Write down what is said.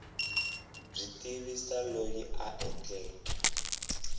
byi tivisa loyi a endleke